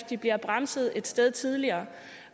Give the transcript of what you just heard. de bliver bremset et sted tidligere